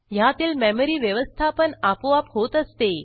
ह्यातील मेमरी व्यवस्थापन आपोआप होत असते